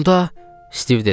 Onda, Stiv dedi.